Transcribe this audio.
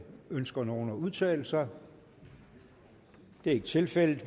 ønsker nogen at udtale sig det er ikke tilfældet